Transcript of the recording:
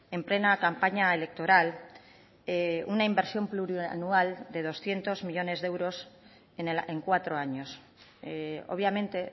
en plena campaña electoral una inversión plurianual de doscientos millónes de euros en cuatro años obviamente